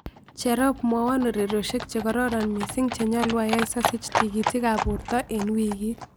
Cherop mwawon ureriosiek chegororon miising' chenyaluu ayaii sosiich tikiitikaab boortoe eng' wikiit